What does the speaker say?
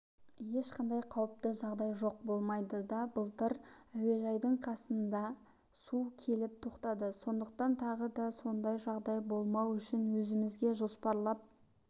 ешқандай қауіпті жағдай жоқ болмайды да былтыр әуежайдың қасына су келіп тоқтады сондықтан тағы да сондай жағдай болмау үшін өзімізге жоспарлап